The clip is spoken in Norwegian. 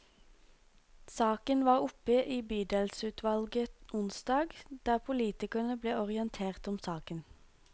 Saken var oppe i bydelsutvalget onsdag, der politikerne ble orientert om saken.